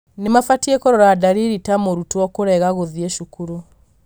nĩmabatie kũrora ndariri ta mũrutwo kũrega gũthiĩ cukuru.